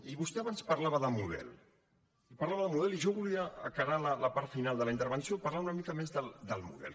i vostè abans parlava de model i parlava de model i jo volia encarar la part final de la intervenció parlant una mica més del model